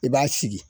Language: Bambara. I b'a sigi